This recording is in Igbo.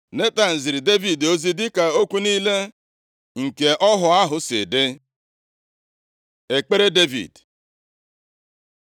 Netan ziri Devid ozi dịka okwu niile nke ọhụ ahụ si dị. Ekpere Devid